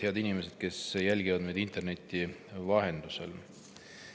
Head inimesed, kes jälgivad meid interneti vahendusel!